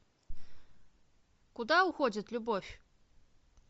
куда уходит любовь